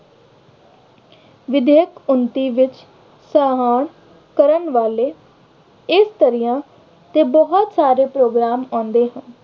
ਵਿਦੇਸ਼ ਉੱਨਤੀ ਵਿੱਚ ਕਰਨ ਵਾਲੇ ਇਸਤਰੀਆਂ ਤੇ ਬਹੁਤ ਸਾਰੇ program ਆਉਂਦੇ ਹਨ।